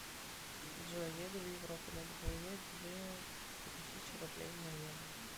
джой еду в европу надо поменять две тысячи рублей на евро